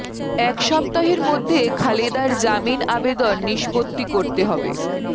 এক সপ্তাহের মধ্যে খালেদার জামিন আবেদন নিষ্পত্তি করতে হবে